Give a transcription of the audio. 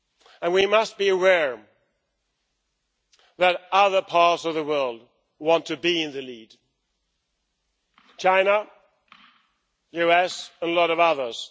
And we must be aware that other parts of the world want to be in the lead China, the US and a lot of others.